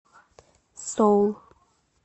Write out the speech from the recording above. соул